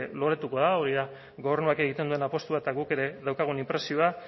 loratuko da hori da gobernuak egiten duen apostua eta guk ere daukagun inpresioa